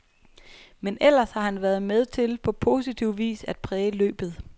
Men ellers har han været med til på positiv vis at præge løbet.